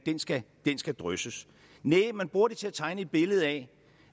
skal skal drysses næh man bruger det til at tegne et billede af